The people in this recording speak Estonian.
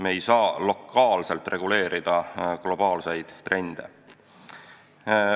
Me ei saa lokaalselt reguleerida globaalseid trende.